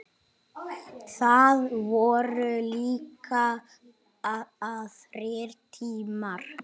Það voru líka aðrir tímar.